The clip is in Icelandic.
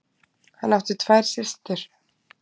Hann átti tvær systur.